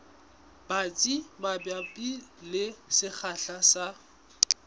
batsi mabapi le sekgahla sa